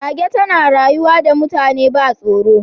Mage tana rayuwa da mutane ba tsoro